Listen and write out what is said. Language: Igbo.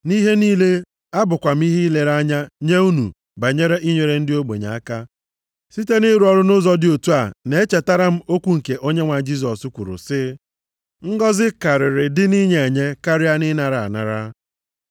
Nʼihe niile, abụkwa m ihe ilere anya nye unu banyere inyere ndị ogbenye aka, site nʼịrụ ọrụ nʼụzọ dị otu a, na-echetara m okwu nke Onyenwe anyị Jisọs kwuru sị, ‘Ngọzị karịrị dị nʼinye enye karịa ịnara anara.’ ”